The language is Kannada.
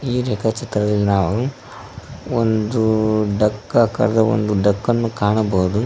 ಈ ರೇಖಾ ಚಿತ್ರದಲ್ಲಿ ನಾವು ಒಂದು ಡಕ್ಕ ಕಾರದ ಒಂದು ಡಕ್ಕನ್ನು ಕಾಣಬಹುದು.